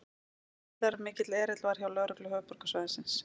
Gríðarmikill erill var hjá lögreglu höfuðborgarsvæðisins